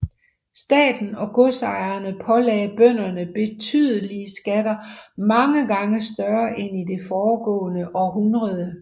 Staten og godsejerne pålagde bønderne betydelige skatter mange gange større end i det foregående århundrede